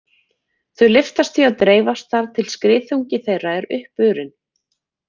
Þau lyftast því og dreifast þar til skriðþungi þeirra er uppurinn.